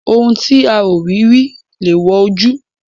Ohun tí a ò rí rí lèèwọ̀ ojú.